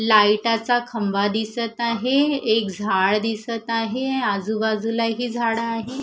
लाईटाचा खंबा दिसत आहे एक झाड दिसत आहे आजूबाजूलाही झाडं आहे.